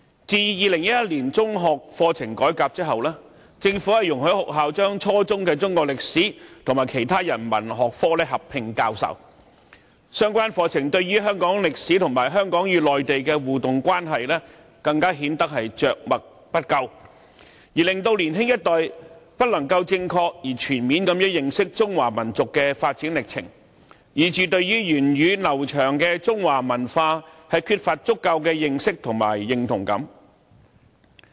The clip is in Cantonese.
自2001年中學課程改革後，政府容許學校把初中的中史科和其他人文學科合併教授，相關課程對香港歷史及香港與內地的互動關係因而更顯得着墨不多，令年輕一代不能正確而全面地認識中華民族的發展歷程，致使他們對源遠流長的中華文化缺乏足夠的認識和認同。